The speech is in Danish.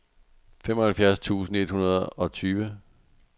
femoghalvfems tusind et hundrede og tyve